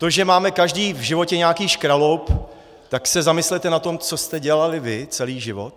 To, že máme každý v životě nějaký škraloup, tak se zamyslete nad tím, co jste dělali vy celý život.